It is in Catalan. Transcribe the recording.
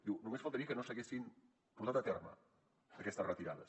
diu només faltaria que no s’haguessin portat a terme aquestes retirades